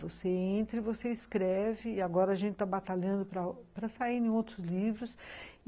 Você entra, você escreve, e agora a gente está batalhando para sair em outros livros.